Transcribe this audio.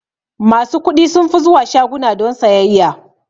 Masu kuɗi sunfi zuwa shaguna don sayayya.